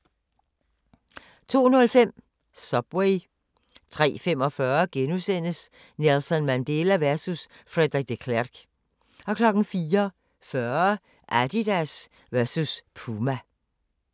02:05: Subway 03:45: Nelson Mandela versus Frederik de Klerk * 04:40: Adidas versus Puma